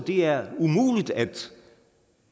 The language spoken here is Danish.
er umuligt